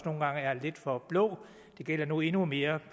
nogle gange er lidt for blå det gælder nu endnu mere